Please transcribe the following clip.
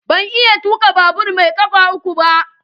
Ban iya tuka babur mai kafa uku ba.